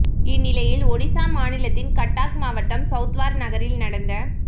இந்நிலையில் ஒடிசா மாநிலத்தின் கட்டாக் மாவட்டம் சவுத்வார் நகரில் நடந்த